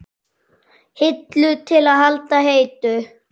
Hillu til að halda heitu?